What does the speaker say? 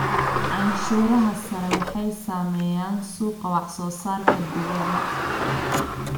Canshuuraha sare waxay saameeyaan suuqa wax soo saarka dibadda.